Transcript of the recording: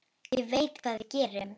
Ég veit hvað við gerum!